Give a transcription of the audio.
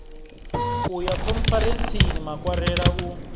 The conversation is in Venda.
u ya khonferentsini makwarela u